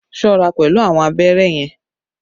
Be careful with the needle!